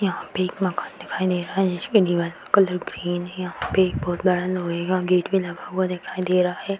यहां पर एक मकान दिखाई दे रहा है जिसके दीवारों का कलर ग्रीन है यहां पर एक बहुत बड़ा लोहे का गेट भी लगा हुआ दिखाई दे रहा है।